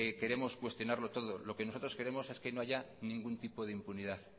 queremos cuestionarlo todo lo que nosotros queremos es que no haya ningún tipo de impunidad